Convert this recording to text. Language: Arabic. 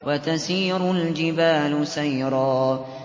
وَتَسِيرُ الْجِبَالُ سَيْرًا